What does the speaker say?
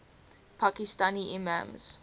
pakistani imams